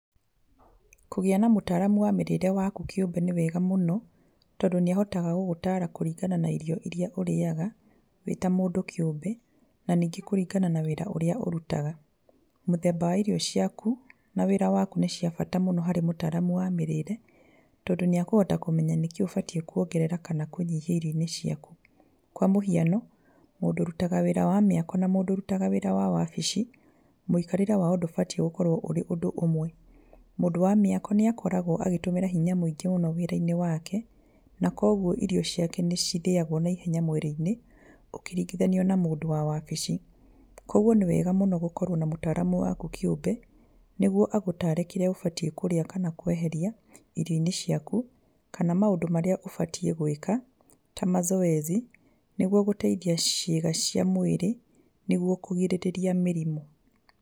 Kũgĩa na mũtaramu wa mĩrĩre yaku kĩũmbe nĩ wega mũno, tondũ nĩ ahotaga gũgũtara kũringana na irio irĩa ũrĩaga wĩ ta mũndũ kĩũmbe, na ningĩ kũringana na wĩra ũrĩa ũrutaga, mũthemba wa irio ciaku, na wĩra waku nĩ cia bata mũno harĩ mũtaramu wa mĩrĩre, tondũ nĩ akũhota kũmenya nĩkĩĩ ũbatiĩ kuongerera kana kũnyihanyihia irio-inĩ ciaku, kwa mũhiano mũndũ ũrutaga wĩra wa mĩako na mũndũ ũrutaga wĩra wa wabici, mũikarĩre wao ndũbatie gũkorwo ũrĩ ũndũ ũmwe, mũndũ wa mĩako nĩ akoragwo agĩtũmĩra hinya mũingĩ mũno wĩra-inĩ wake, na koguo irio ciake nĩ cithĩagwo naihenya mwĩrĩ-inĩ ũkĩringithanio na mũndũ wa wabici, koguo nĩ wega mũno gũkorwo na mũtaramu waku kĩũmbe, nĩguo agũtare kĩrĩa ũbatiĩ kũrĩa kana kweheria irio-inĩ ciaku, kana maũndũ marĩa ũbatiĩ gwĩka ta mazoezi nĩguo gũteithia ciĩga cia mwĩrĩ, nĩguo kũgirĩrĩa mĩrimũ.